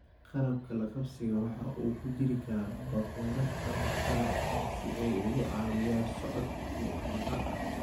Qalabka la qabsiga waxaa ku jiri kara bakoorad ama qalab kale si ay uga caawiyaan socodka iyo dhaqdhaqaaqa.